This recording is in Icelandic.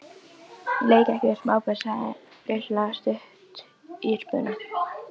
Ég leik ekki við smábörn sagði Lilla stutt í spuna.